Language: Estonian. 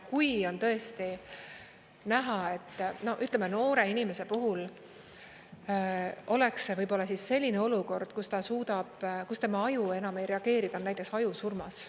Kui on tõesti näha, ütleme, noore inimese puhul oleks see võib-olla selline olukord, kus tema aju enam ei reageeri, ta on näiteks ajusurmas.